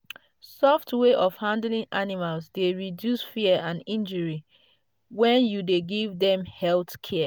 soft way of handling animals dey reduce fear and injury when you dey give them health care.